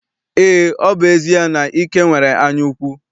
Eé, ọ bụ ezie na Ike nwere anyaukwu.